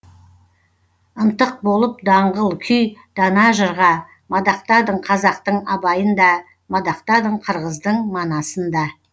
ынтық болып даңғыл күй дана жырға мадақтадың қазақтың абайын да мадақтадың қырғыздың манасын да